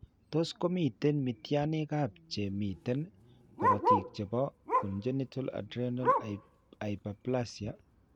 Tos' ko miten mityaaniikap che miten korotiik che po congenital adrenal hyperplasia?